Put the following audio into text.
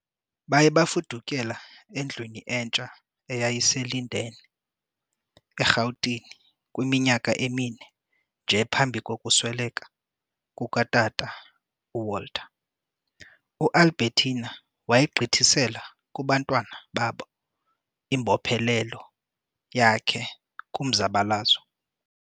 Baye bafudukela endlwini entsha eyayise- Linden, eRhawutini kwiminyaka emine nje phambi kokusweleka kuka tata u- Walter, U- Albertina wayigqithisela kubantwana babo imbophelelo yakhe kumzabalazo.